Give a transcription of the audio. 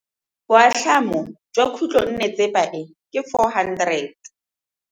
Boatlhamô jwa khutlonnetsepa e, ke 400.